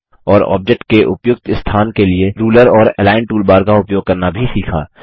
और ऑब्जेक्ट के उपयुक्त स्थान के लिए रूलर और अलिग्न टूलबार का उपयोग करना भी सीखा